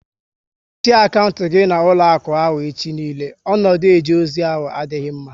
Mechie akantị gị na ụlọakụ ahụ echi niile! Ọnọdụ eje ozi ahụ adịghị mma